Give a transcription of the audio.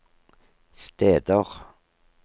steder